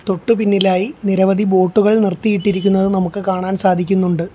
തൊട്ടു പിന്നിലായി നിരവധി ബോട്ടുകൾ നിർത്തിയിട്ടിരിക്കുന്നത് നമുക്ക് കാണാൻ സാധിക്കുന്നുണ്ട്.